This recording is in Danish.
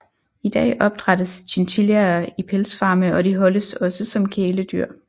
I dag opdrættes chinchillaer i pelsfarme og de holdes også som kæledyr